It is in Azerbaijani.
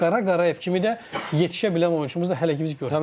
Qara Qarayev kimi də yetişə bilən oyunçumuz da hələ ki biz görmürük.